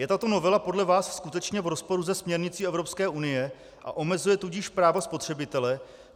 Je tato novela podle vás skutečně v rozporu se směrnicí Evropské unie, a omezuje tudíž práva spotřebitele?